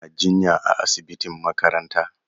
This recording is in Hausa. Yana jinya a asibitin makaranta.